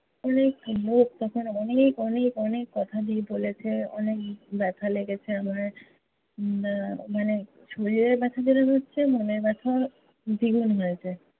অনেক লোক তখন অনেক, অনেক, অনেক কথা দিয়ে বলেছে। অনেক ব্যাথা লেগেছে আমার। উম আহ মানে শরীরের ব্যাথা যেরম হচ্ছে মনের ব্যাথাও দ্বিগুণ হয়েছে।